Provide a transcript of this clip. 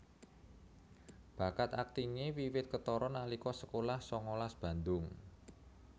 Bakat aktingé wiwit ketara nalika sekolah sangalas Bandung